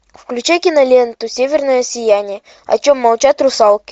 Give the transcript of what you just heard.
включай киноленту северное сияние о чем молчат русалки